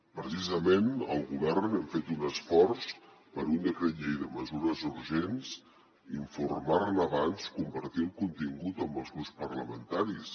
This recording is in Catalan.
precisament el govern hem fet un esforç per un decret llei de mesures urgents d’informar ne abans compartir el contingut amb els grups parlamentaris